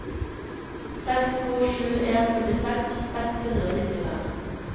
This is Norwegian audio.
seks to sju en førtiseks seks hundre og nittifem